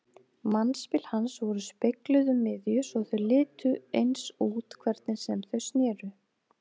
Mannspil hans voru spegluð um miðju svo þau litu eins út hvernig sem þau sneru.